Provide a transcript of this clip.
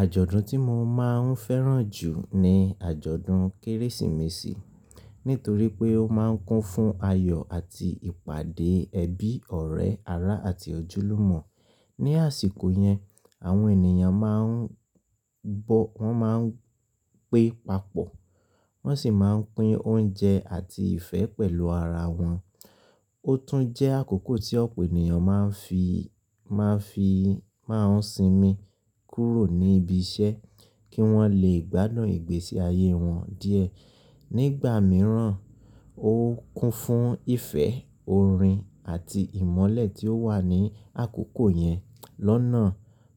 Àjọ̀dún tí mo máa ń fẹ́ràn jù ni àjọ̀dún Kérésìmesì. Nítorí pé ó máa ń kún fún ayọ̀ àti ìpàdé ẹbí, ọ̀rẹ́, ará àti ojúlùmọ̀. Ni àsìkò yẹn, àwọn ènìyàn máa ń bọ̀, wọ́n máa ń pé papọ̀, wọ́n sì máa ń pín oúnjẹ àti ìfẹ́ pẹ̀lú ara wọn. Ó tún jẹ́ àkókò tí ọ̀pọ̀ ènìyàn máa ń fi, máa ń fi, máa ń sinmi kúrò ní ibi iṣẹ́ kí wọ́n lè gbádùn ìgbésí ayé wọn díẹ̀. Nígbà mìíràn ó kún fún ìfẹ́, orin àti ìmọ́lẹ̀ tí ó wà ní àkókò yẹn lọ́nà